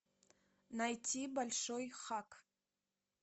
найти большой хак